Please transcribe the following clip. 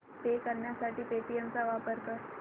पे करण्यासाठी पेटीएम चा वापर कर